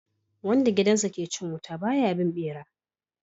Wanda gidansa ke cin wuta ba ya bin bera